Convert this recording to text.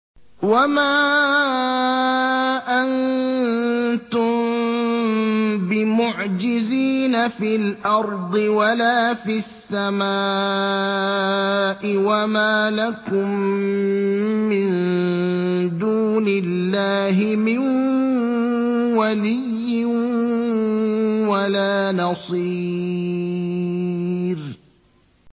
وَمَا أَنتُم بِمُعْجِزِينَ فِي الْأَرْضِ وَلَا فِي السَّمَاءِ ۖ وَمَا لَكُم مِّن دُونِ اللَّهِ مِن وَلِيٍّ وَلَا نَصِيرٍ